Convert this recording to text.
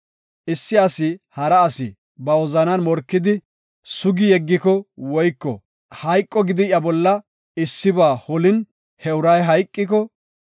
“Issi asi hara asi ba wozanan morkidi sugi yeggiko woyko hayqo gidi iya bolla issiba holin he uray hayqiko,